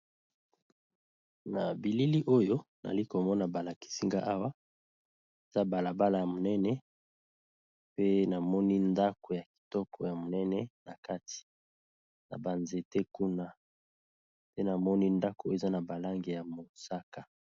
Na bilili oyo nali komona balakisinga awa eza balabala ya monene pe namoni ndako ya kitoko ya monene na kati na banzete kuna pe namoni ndako eza na balange ya mosaka.